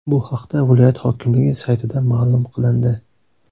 Bu haqda viloyat hokimligi saytida ma’lum qilindi .